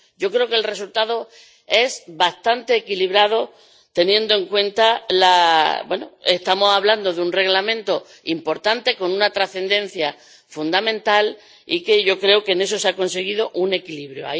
Yo creo que el resultado es bastante equilibrado, teniendo en cuenta que estamos hablando de un Reglamento importante, con una trascendencia fundamental, y yo creo que en eso se ha conseguido un equilibrio.